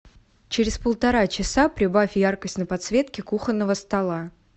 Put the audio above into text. через полтора часа прибавь яркость на подсветке кухонного стола